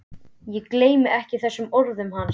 Ég gleymi ekki þeim orðum hans.